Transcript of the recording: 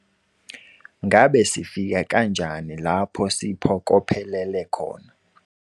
Ngabe sifika kanjani lapho siphokophelele khona?